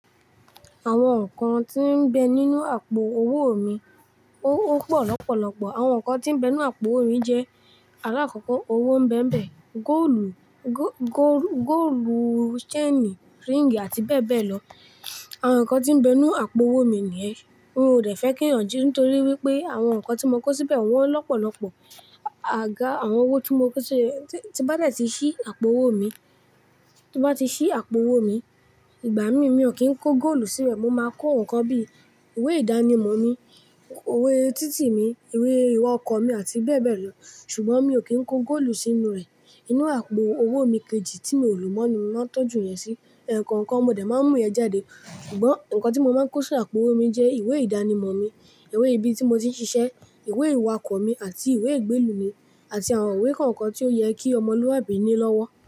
Àwọn nǹkan tí ń bẹ nínú àpò owó mi, ó pọ̀ lọ́pọ̀lọ́pọ̀. Àwọn nǹkan tí ń bẹ nínú àpò owó mi jẹ́, alákọ̀kọ́ owó ń bẹ ń bẹ, góòlù, góò, góò, góòlù, ṣéènì, ríìngì àti bẹ́ẹ̀ bẹ́ẹ̀ lọ. Àwọn nǹkan tí ń bẹ nínú àpò owó mi nìyẹn. N ò dẹ́fẹ́ kí ìyànji, nítorí wípé àwọn nǹkan tí mo kó síbẹ̀ wọ́n lọ́pọ̀lọ́pọ̀. Àga, àwọn owó tí mo kó sí, tí bá dà ti ṣí àpò owó mi, tí bá ti ṣí àpò owó mi, ìgbà mí, mi ò kí ń kó góòlù sínú rẹ̀. Mo máa kó nǹkan bí, ìwé ìdánimọ̀ mi, iwe títì mi, ìwé ìwà ọkọ̀ mi àti bẹ́ẹ̀ bẹ́ẹ̀ lọ. Ṣùgbọ́n mi ò kí ń kó góòlù sínú rẹ̀. Inú àpò owó mi kejì tí mi ò lò mọ́, ni mo ma n tọ́jú yẹn sí. Ẹkọ̀ọ̀kan mo dẹ máa ń mú ìyẹn jáde. Ṣùgbọ́n nǹkan tí mo máa ń kó sí àpò owó mi jẹ́ ìwé ìdánimọ̀ mi, ìwé ibi tí mo ti ń ṣiṣẹ́, ìwé ìwà ọkọ̀ mi àti ìwé ìgbélú mi, àti àwọn ìwé kọ̀ọ̀kan tí ó yẹ kí ọmọlúwàbí ní lọ́wọ́.